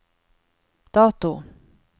dato